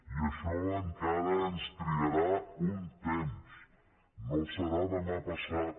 i això encara ens trigarà un temps no serà demà passat